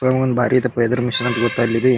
ಇತ್ಲಾಗೊಂದು ಬಾರಿ ಐತಪ್ಪ ಎದುರು ಮೆಷಿನ್ ಅಂತ ಗೊತ್ತಾ ಗ್ಲೇದಿ